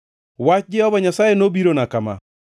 Wach Jehova Nyasaye nobirona kama: